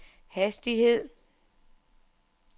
hastighed